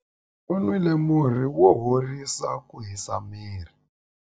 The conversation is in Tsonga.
U nwile murhi wo horisa ku hisa miri.